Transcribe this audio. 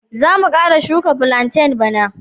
Za mu kara shuka platain bana.